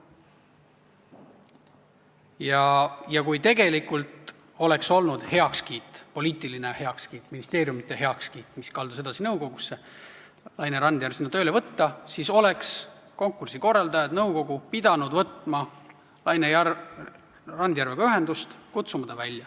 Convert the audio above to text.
Kui oleks tegelikult olnud heakskiit, poliitiline heakskiit, ministeeriumide heakskiit, mis oleks kandunud edasi nõukogusse, sellele, et Laine Randjärv sinna tööle võetakse, siis oleks konkursi korraldajad, nõukogu, pidanud võtma Laine Randjärvega ühendust ja kutsuma ta välja.